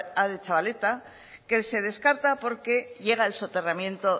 aretxabaleta que se descarta porque llega el soterramiento